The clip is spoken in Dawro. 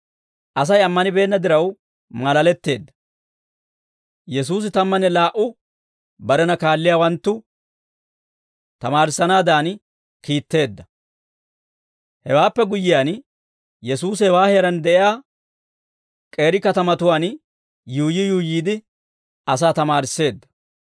Asay ammanibeenna diraw maalaletteedda. Yesuusi Tammanne Laa"u Barena Kaalliyaawanttu Tamaarissanaadan Kiitteedda ( Mat. 10:5-15 ; Luk'. 9:1-6 ) Hewaappe guyyiyaan, Yesuusi hewaa heeraan de'iyaa k'eeri katamatuwaan yuuyyi yuuyyiide, asaa tamaarisseedda.